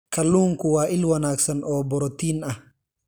Kalluunku waa il wanaagsan oo borotiin ah.